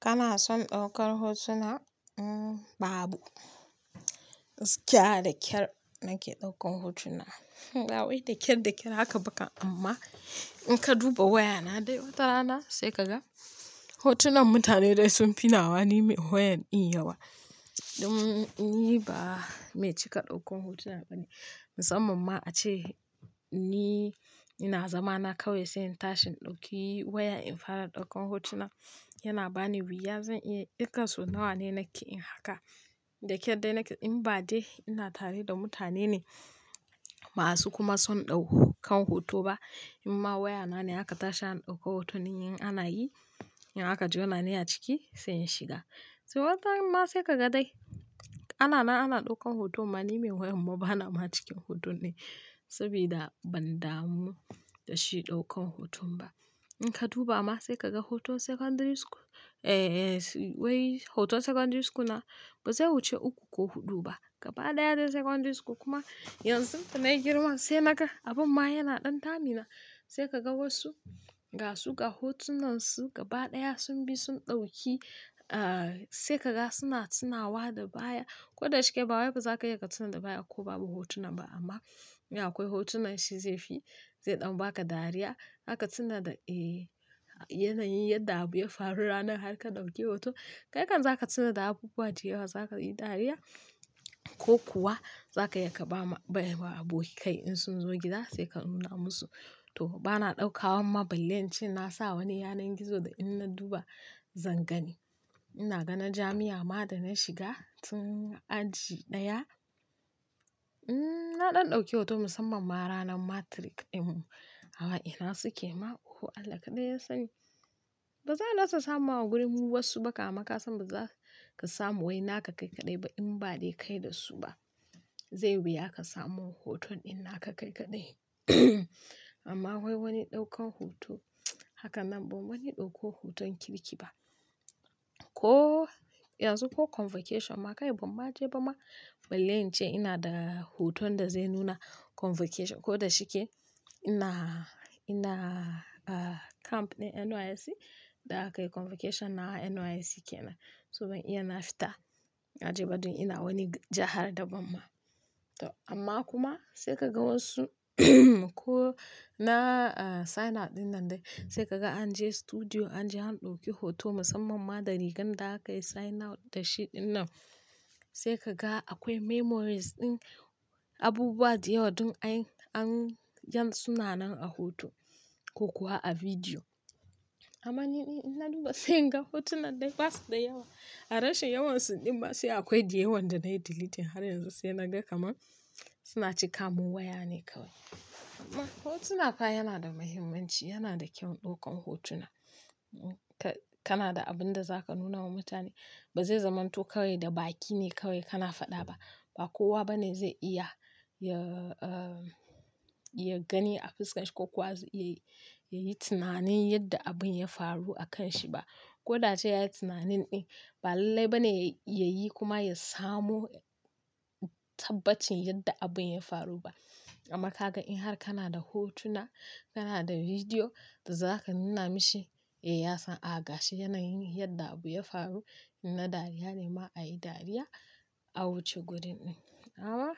Kana son ɗaukar hotuna? Babu. Gaskiya da ƙyar nake ɗaukan hotuna. Ba wai da ƙyar, da ƙyar haka ba ka amma in ka duba wayana dai watarana sai ka ga hotunan mutane dai sun fi nawa. Ni mai wayan in yawa. Ni ba mai cika ɗaukan hotuna bane. Musamman ma ace ni, ina zama na kawai sai in tashi in ɗauki waya in fara ɗaukan hotuna. Yana bani wuya zan iya irga sau nawa ne nake yin haka. Da ƙyar dai nake in ba dai ina tare da mutane ne masu kuma son ɗaukan hoto ba. Inma wayana ne aka tashi an ɗauko hoton in ana yi, in haka juna ni a ciki sai in shiga. So watarab ma sai ka ga dai ana na, ana ɗaukan hoto ma--. Ni mai wayan amma bana ma cikin hoton ne saboda ban damu da shi ɗaukan hoton ba. In ka duba ma sai ka ga hoton secondary school. Eh, wai hoton secondary school na ba zai wuce uku ko huɗu ba. Gaba ɗaya dai secondary school kuma yanzu tun da yi girma sai naga abin ma yana ɗan damuna. Sai ka ga wasu gasu ga hotunan su gaba ɗaya sun bi sun ɗauki. Sai ka ga suna tunawa da baya. Ko da shike ba wai ka za ka iya ka tuna da baya ko babu hotunan ba amma, in akwai hotunan shi zai fi zai ɗan baka dariya. Zaka tuna da, eh yana yin yadda abu ya faru ranar har ka ɗauke hoto. Kai kam za ka tuna da abubuwa da yawa. Za ka yi dariya ko kuwa za ka iya ka ba aboki kai in sun zo gida sai ka nuna musu. To bana ɗauka. Amma balle ince na sa wani yanar gizo da in na duba zan gani. Ina ganin jami'a ma da na shiga tun aji ɗaya. Na ɗan ɗauke hoto musamman ma ranar matric in. Amma ina suke ma? O Allah kaɗai yasani. Ba zan iya rasa samawa a gurin wasu ba. Amma ma ka san ba za ka samu wai naka kai kaɗai ba in ba dai kai da su ba. Zai wuya ka samu hoton in naka kai kaɗai. Amma wai wani ɗaukan hoto. Haka nan bam wani dauko hoton kirki ba. Ko yanzu ko convocation ma kai banma je bama balle in ce ina da hoton da zai nuna convocation. Ko da shike ina, ina camp ne NYSC. Da aka yi convocation na NYSC kenan. So ban iya na fita naje ba don ina wani jahar daban ma. To amma kuma sai ka ga wasu ko na sign out dinnan dai. Sai ka ga an je studio an je an ɗauki hoto musamman ma da rigar da aka yi sign out da shi dinnan. Sai ka ga akwai memories ɗin abubuwa da yawa don an, an sunanan a hoto ko kuwa a bidiyo. Amma ni in na duba sai in ga hotunan dai basu da yawa. A rashin yawansu ɗin ma sai akwai da yawan da na yi delete har yanzu sai na ga kamar suna cika mun waya ne kawai. Amma hotuna fa yana da muhimmanci. Yana da kyau ɗaukan hotuna. Kana da abin da za ka nuna wa mutane. Ba zai zamanto kawai da baki ne kawai kana faɗa ba. Ba kowa bane zai iya ya, ya gani a fuska shi ko kowa yayi tunanin yadda abin ya faru a kan shi ba. Ko da a ce yayi tunanin ɗin ba lallai bane ya yi kuma ya samu tabbacin yadda abin ya faru ba. Amma ka ga in har kana da hotuna, kana da bidiyo da za ka nuna mishi. Eh ya san a gashi yanayin yadda abu ya faru. In na dariya ne ma ayi dariya a wuce gurin ɗin. Amma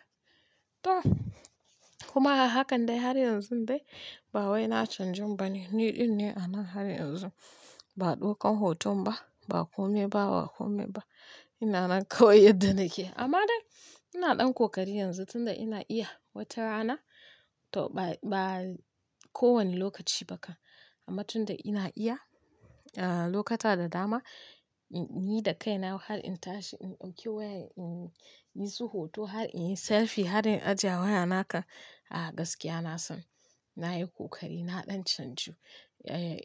to kuma a hakan dai har yanzu dai ba wai na canjin ba ne. Ni ɗin ne a nan har yanzu. Ba ɗaukan hoton ba. Ba kome ba, ba kome ba. Ina nan kawai yadda nake. Amma dai ina ɗan kokari yanzu tunda ina iya. Wata rana to ba, ba ko wani lokaci ba ka. Amma tunda ina iya, lokata da dama, ni da kai na wai har in tashi in ɗauki waya in yi su hoto har in yi selfie har in ajiye a waya na kam, a gaskiya na san nayi kokari. Na ɗan canju.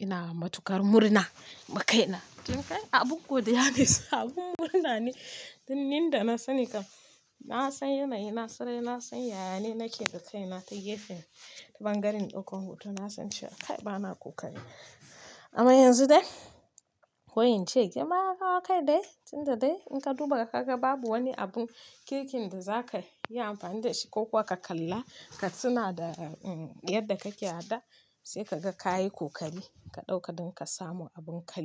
Ina matuƙar murna ma kai na. Tun kai abin godiya ne saboda abun murna ne. Tun ni da na sani kan na san yanayi na sarai. Na san yaya ne nake da kai na ta gefen ta ɓangaren ɗaukan hoto. Na san cewa kai bana kokari. Amma yanzu dai wai ince amma ka ga kai dai tunda dai in ka duba ka ga babu wani abun kirkin da za ka yi amfani da shi ko kuwa ka kalla ka tuna da yadda kake a da sai ka ga ka yi kokari ka ɗauka don ka samu abin ka.